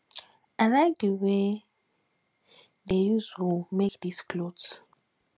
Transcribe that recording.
i like the way dey use wool make dis cloth